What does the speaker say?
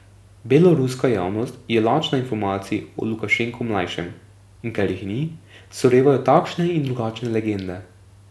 Beloruska javnost je lačna informacij o Lukašenku mlajšem, in ker jih ni, se rojevajo takšne in drugačne legende.